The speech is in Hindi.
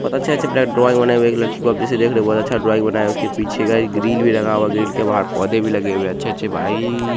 बहुत अच्छे-अच्छे ड्राइंग बनाई हैं एगो लड़की को जैसे आप देख रहे हैं बहुत अच्छा ड्राइंग बना है उसके पीछे गाइज एक ग्रिल लगा हुआ है ग्रिल के बाहर पौधे भी लगे हुए हैं ।अच्छे-अच्छे भाई--